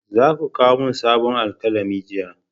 Za ku kawo sabon alkalami jiya!